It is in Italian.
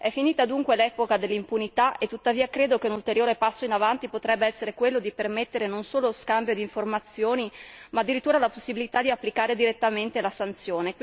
È finita, dunque, l'epoca dell'impunità e tuttavia credo che un ulteriore passo in avanti potrebbe essere quello di permettere non solo scambio di informazioni ma, addirittura, la possibilità di applicare direttamente la sanzione.